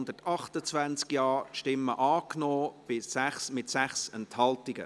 Sie haben diese Richtlinienmotion angenommen, mit 128 Ja- gegen 0 Nein-Stimmen bei 6 Enthaltungen.